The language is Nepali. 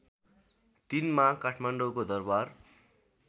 ३ मा काठमाडौँको दरबार